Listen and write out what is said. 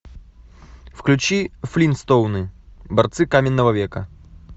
включи флинстоуны борцы каменного века